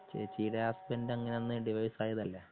ചേച്ചിന്റെ ഹസ്ബൻഡ് അന്ന് അങ്ങനെ ഡിവോഴ്സ് ആയതല്ലേ